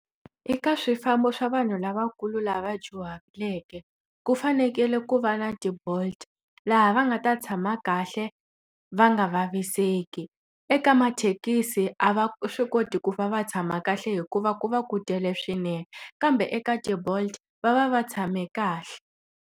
Eka swifambo swa vanhu lavakulu lava dyuhaleke, ku fanekele ku va na ti-Bolt laha va nga ta tshama kahle va nga vaviseki. Eka mathekisi a va swi koti ku va va tshama kahle hikuva ku va ku tele swinene, kambe eka ti-Bolt va va va tshame kahle.